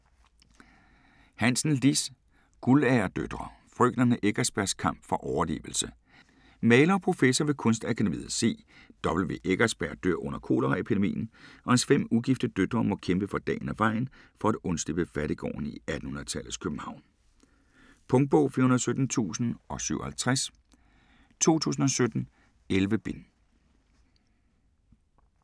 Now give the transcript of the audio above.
Hansen, Liss: Guldalderdøtre: frøkenerne Eckersbergs kamp for overlevelse Maler og professor ved Kunstakademiet, C. W. Eckersberg dør under koleraepidemien og hans fem ugifte døtre må kæmpe for dagen og vejen for at undslippe fattiggården i 1800-tallets København. Punktbog 417057 2017. 11 bind.